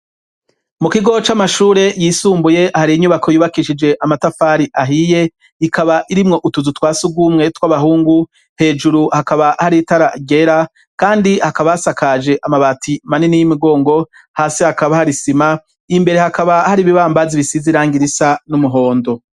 Mu kigo c'amashure yisumbuye hari inyubako yubakishije amatafari ahiye ikaba irimwo utuzu twasi gumwetw'abahungu hejuru hakaba hari itaragera, kandi hakabasakaje amabati manini y'imugongo hasi hakaba harisima imbere hakaba hari ibibambazi bisiziranga irisa n'umuhondo.